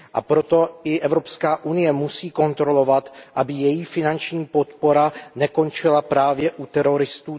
A proto i Evropská unie musí kontrolovat, aby její finanční podpora nekončila právě u teroristů.